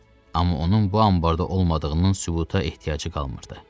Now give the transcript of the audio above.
Amma onun bu anbarda olmadığının sübuta ehtiyacı qalmırdı.